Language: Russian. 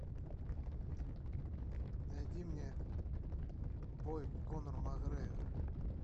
найди мне бой конора макгрегора